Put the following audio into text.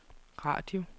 radio